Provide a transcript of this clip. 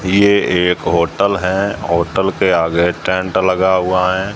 ये एक होटल है होटल के आगे टेंट लगा हुआ है।